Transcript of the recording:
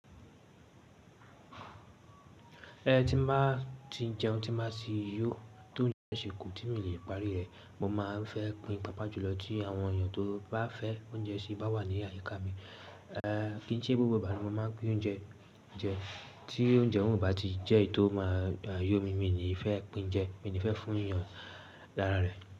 Ẹni tí máa ti jẹun tí máa sì yó, tó un jẹun sè kò tí mi le parí rẹ. Mo ma n fẹ́ pín pápá jùlọ tí àwọn èèyàn tó bá fẹ́ oúnjẹ sì bá wà ní àyíká mi. Ehn, kíi ṣe gbogbo ìbànú mo máa pín oúnjẹ jẹ, tí oúnjẹ òhún bá ti jẹ́ èyí tó máa yó mi, mi ni ì fẹ́ pín jẹ, mi ni ì fẹ́ fún èèyàn lára rẹ̀.